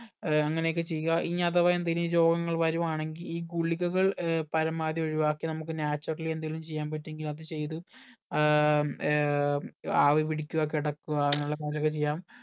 ഏർ അങ്ങനെ ഒക്കെ ചെയ്യുക ഇനി അഥവാ എന്തേലും രോഗങ്ങൾ വരുവാണങ്കി ഈ ഗുളികക ഏർ പരമാവധി ഒഴിവാക്കി നമുക്ക് naturally എന്തേലും ചെയ്യാൻ പറ്റു എങ്കിൽ അത് ചെയ്ത് ഏർ ഏർ ആവിപിടിക്കുക കിടക്കുക അങ്ങനെയുള്ള അതൊക്കെ ചെയ്യാം